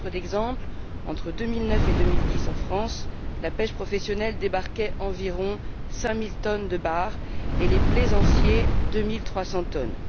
À titre d'exemple, entre 2009 et 2010 en France, la pêche professionnelle débarquait environ 5000 tonnes de bar et les plaisanciers 2300 tonnes.